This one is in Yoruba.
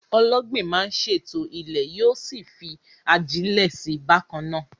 Ọlọ́gbìn máa ń ṣètò ilẹ̀, yóò sì fi ajílẹ̀ sí i bákan náà.